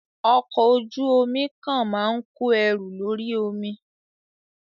Ọkọ̀ ojú omi kan máa ń kó ẹrù lórí omi.